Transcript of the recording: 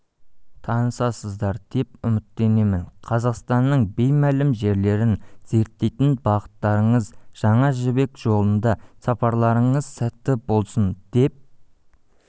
танысасыздар деп үміттенемін қазақстанның беймәлім жерлерін зерттейтін бағыттарыңыз жаңа жібек жолында сапарларыңыз сәтті болсын деп